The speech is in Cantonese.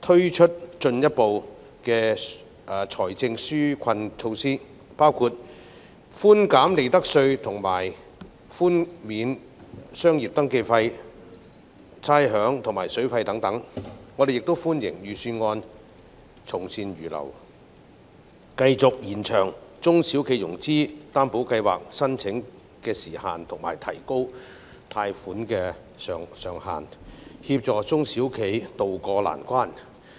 推出進一步財政紓困措施，包括寬減利得稅及寬免商業登記費、差餉及水電費等，我們亦歡迎預算案從善如流，繼續延長中小企融資擔保計劃的申請時限及提高貸款上限，協助中小企渡過難關。